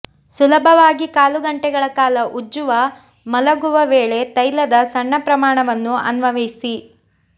ಸುಲಭವಾಗಿ ಕಾಲು ಗಂಟೆಗಳ ಕಾಲ ಉಜ್ಜುವ ಮಲಗುವ ವೇಳೆ ತೈಲದ ಸಣ್ಣ ಪ್ರಮಾಣವನ್ನು ಅನ್ವಯಿಸಿ